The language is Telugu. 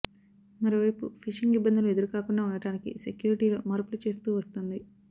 మరోవైపు ఫిషింగ్ ఇబ్బందులు ఎదురుకాకుండా ఉండటానికి సెక్యూరిటీలో మార్పులు చేస్తూ వస్తోంది